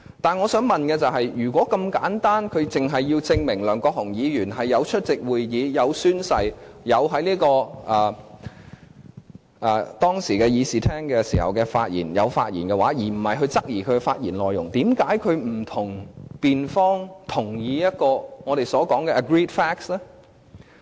但是，我想問的是，如果是這樣簡單，律政司只要證明梁國雄議員有出席會議、有宣誓，當時亦有在議事廳發言，而不是質疑其發言內容，為何律政司不與辯方同意一個我們所說的 "agreed facts" 呢？